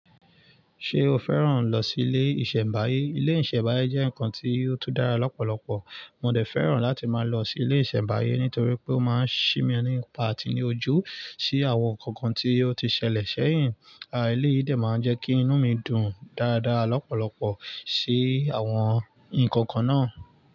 Ṣé o fẹ́ràn lọ sí ilé ìṣẹ̀mbáyé? Ilé ìṣẹ̀mbáyé jẹ́ nǹkan tí ó tú dára lọ́pọ̀lọpọ̀. Mo dẹ̀ fẹ́ràn láti máa lọ sí ilé ìṣẹ̀mbáyé nítorí pé ó máa ń ṣi mi nípa àtinijó sí àwọn nǹkan tí ó ti ṣẹlẹ̀ sẹ́yìn. Àà, ilé yìí dẹ̀ máa ń jẹ́ kí inú mi dùn dáadáa lọ́pọ̀lọpọ̀ sí àwọn nǹkan kan náà.